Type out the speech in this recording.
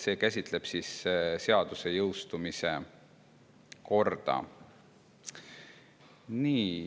See käsitleb seaduse jõustumise korda.